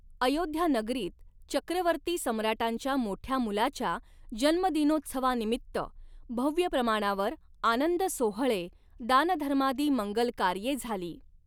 अयोध्या नगरींत चक्रवर्ती सम्राटांच्या मोठ्या मुलाच्या जन्मदिनोत्सवानिमित्त भव्य प्रमाणावर आनंदसोहळे, दानधर्मादि मंगल कार्ये झाली.